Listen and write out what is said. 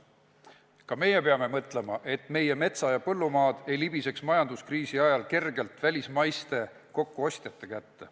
Ka meie peame mõtlema, et meie metsa- ja põllumaad ei libiseks majanduskriisi ajal kergelt välismaiste kokkuostjate kätte.